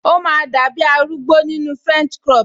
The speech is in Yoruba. O máa dàbi arúgbó nínu french crop